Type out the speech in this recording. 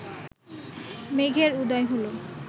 মেঘের উদয় হল